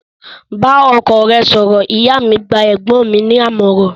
Bá ọkọ rẹ sọ̀rọ̀!, ìyá mi gba ẹ̀gbọ́n mi ní àmọ̀ràn